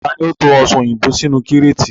Taàní ó ń to Ọsàn òyìnbó sínú kíreetì?